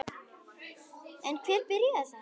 En hvernig byrjaði þetta?